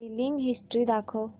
billing history दाखव